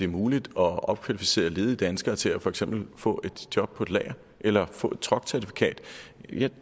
muligt at opkvalificere ledige danskere til for eksempel at få et job på et lager eller få et truckcertifikat det